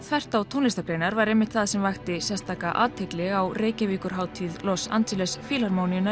þvert á tónlistargreinar var einmitt það sem vakti sérstaka athygli á Los Angeles